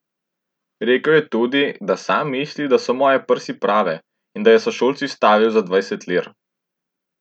Rekel je tudi, da sam misli, da so moje prsi prave, in da je s sošolci stavil za dvajset lir.